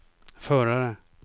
förare